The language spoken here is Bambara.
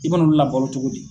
I bɛ na olu labalo cogo di?